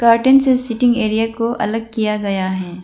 Carton से seating area को अलग किया गया है।